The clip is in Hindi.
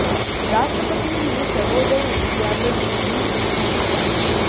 राष्ट्रपति ने सर्वोदय विद्यालय में ली बच्चों की क्लास